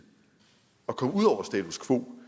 og komme ud over status quo